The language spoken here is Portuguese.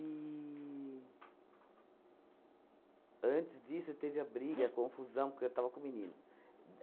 Antes disso, teve a briga, a confusão, porque eu estava com o menino.